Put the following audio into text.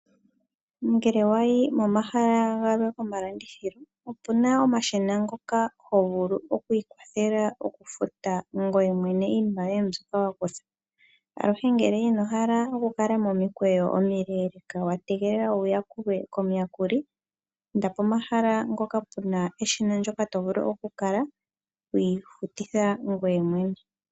Ngele wa yi momahala galwe gomalandithilo opu na omashina ngoka ho vulu oku ikwathela okufuta ngoye mwene iinima yoye mbyoka wa kutha. Aluhe ngele ino hala okukala momikweyo omile wa tegelela wu yakulwe komuyakuli, inda pomahala ngoka pe na eshina ndyoka to vulu okukala wi ifutitha ngoye mwene.